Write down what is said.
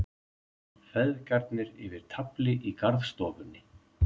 Feðgarnir yfir tafli í garðstofunni.